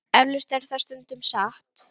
Eflaust er það stundum satt.